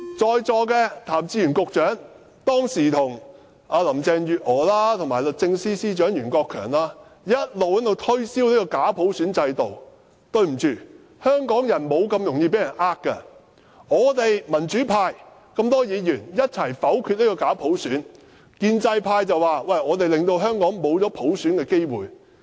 在座的譚志源局長，當時跟林鄭月娥和律政司司長袁國強一直推銷這個假普選制度，對不起，香港人不會這麼容易受騙，我們民主派這麼多名議員共同否決了這個假普選，建制派卻說我們令香港失去普選的機會。